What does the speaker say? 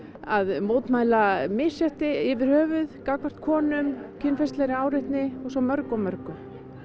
að mótmæla misrétti yfir höfuð gagnvart konum kynferðislegri áreitni og svo mörgu og mörgu